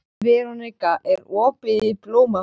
Veronika, er opið í Blómaborg?